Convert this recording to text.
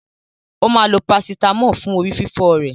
Ó máa lo parasítámọ̀ fún orí fífọ́ rẹ̀.